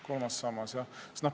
Kolmas sammas, jah.